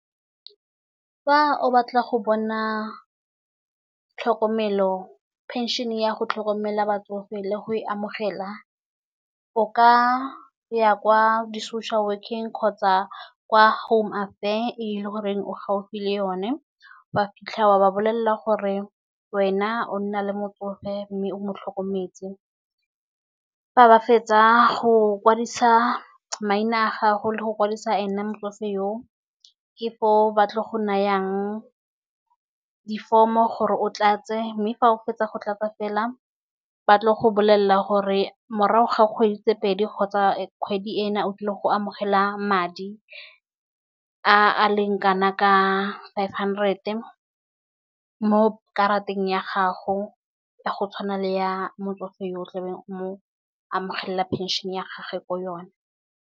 Fa o batla go bona tlhokomelo phenšhene ya go tlhokomela batsofe le go e amogela. O ka ya kwa di-social work-eng kgotsa kwa home affairs e le gore o gaufi le yone. O a fitlha wa ba bolelela gore wena o nna le motsofe mme mo tlhokometse. Fa ba fetsa go kwadisa maina a gago le go kwadisa e ne motsofe oo, ke foo ba tlo go nayang diforomo gore o tlatse, mme fa o fetsa go tlatsa fela batle go bolelela gore morago ga kgwedi tse pedi kgotsa kgwedi ena o tlile go amogela madi a leng kana ka five hundred. Mo karateng ya gago ya go tshwana le ya motsofe yo o tlabeng o mo amogelela pension ya gagwe ko yone.